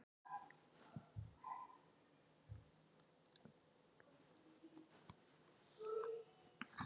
Dómur var kveðinn upp í gær